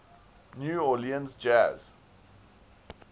new orleans jazz